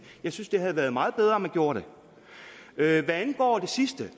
jeg synes det havde været meget bedre om man gjorde det hvad angår det sidste